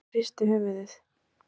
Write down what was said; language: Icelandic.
Gunnar hristi höfuðið.